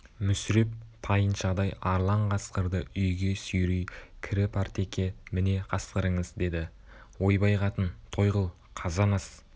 мүсіреп тайыншадай арлан қасқырды үйге сүйрей кіріпартеке міне қасқырыңыз деді ойбай қатын той қыл қазан ас